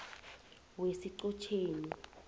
wesichotjeni